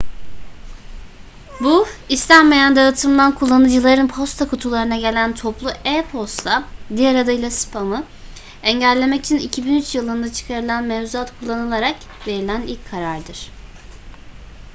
bu istenmeyen dağıtımdan kullanıcıların posta kutularına gelen toplu e-posta diğer adıyla spamı engellemek için 2003 yılında çıkarılan mevzuat kullanılarak verilen ilk karardır